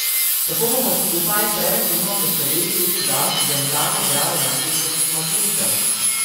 Tako bomo skupaj preventivno poskrbeli tudi za dentalno zdravje naših kosmatincev.